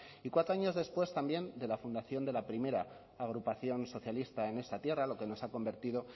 y cuatro años después también de la fundación de la primera agrupación socialista en esta tierra lo que nos han convertido